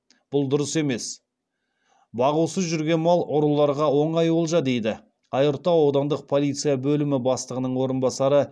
бұл дұрыс емес бағусыз жүрген мал ұрыларға оңай олжа дейді айыртау аудандық полиция бөлімі бастығының орынбасары